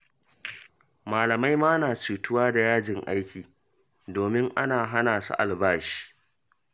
Malamai ma na cutuwa da yajin aiki, domin ana hana su albashi